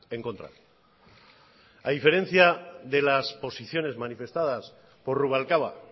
en contra a diferencia de las posiciones manifestadas por rubalcaba